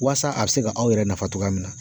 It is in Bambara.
Waasa a bɛ se ka aw yɛrɛ nafa cogoya min na.